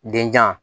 Denjan